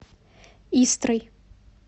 истрой